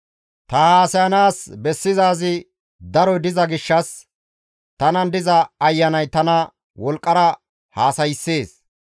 Ta haasayanaas bessizaazi daroy diza gishshas; tanan diza ayanay tana wolqqara haasayssees.